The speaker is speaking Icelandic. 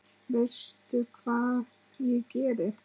Veistu hvað ég geri?